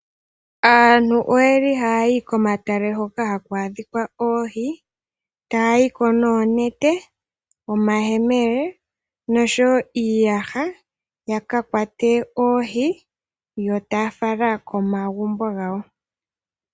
Aantu oyeli hayayi ko matale hoka haku adhika oohi taya yiko noonete, omayemele oshowo iiyaha ya kakwate oohi yo taya fala komagumbo gawo.